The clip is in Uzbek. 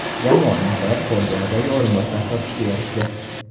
Jamoa nihoyat Xordi Albaga o‘rinbosar topishga erishdi.